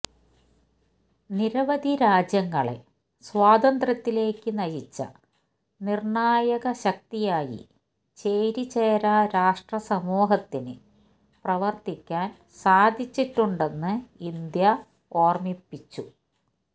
നിരവധി രാജ്യങ്ങളെ സ്വാതന്ത്ര്യത്തിലേക്ക് നയിച്ച നിര്ണായക ശക്തിയായി ചേരിചേരാ രാഷ്ട്ര സമൂഹത്തിന് പ്രവര്ത്തിക്കാന് സാധിച്ചിട്ടുണ്ടെന്ന് ഇന്ത്യ ഓര്മ്മിപ്പിച്ചു